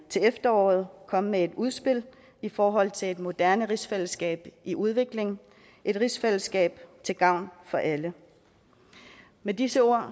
til efteråret komme med et udspil i forhold til et moderne rigsfællesskab i udvikling et rigsfællesskab til gavn for alle med disse ord